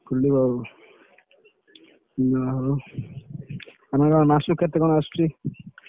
ଖୋଲିବ ଆଉ, ଯାହାହଉ ମାସକୁ କେତେ କଣ ଆସୁଛି?